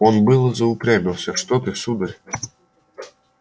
он было заупрямился что ты сударь